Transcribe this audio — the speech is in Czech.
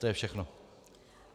To je všechno.